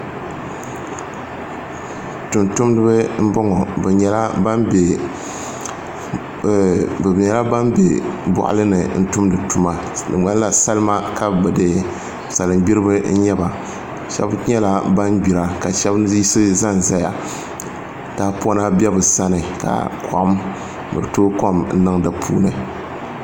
Tumtumdibi n boŋo bi nyɛla ban bɛ boɣali ni n tumdi tuma salin gbiribi n nyɛba shab nyɛla ban gbira ka shab yiɣisi ʒɛnʒɛya tahapona bɛ bi sani ka bi tooi kom niŋ di puuni